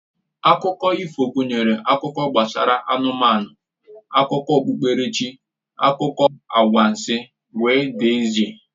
Akụkọ ifo gụnyere akụkọ gbasara anụmanụ, akụkọ okpukperechi, akụkọ anwansị wdg